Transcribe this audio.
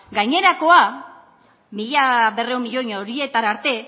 gainerakoa mila berrehun milioi horietara arte